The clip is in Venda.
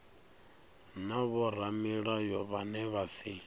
na vhoramilayo vhane vha si